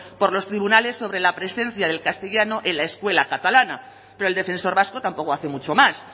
por los tribunales sobre la presencia del castellano en la escuela catalana pero el defensor vasco tampoco hace mucho más